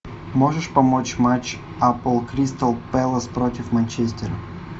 можешь помочь матч апл кристал пэлас против манчестера